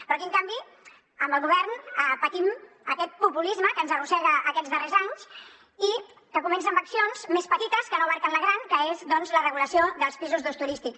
però aquí en canvi amb el govern patim aquest populisme que ens arrossega aquests darrers anys i que comença amb accions més petites que no inclouen la gran com ara doncs la regulació dels pisos d’ús turístic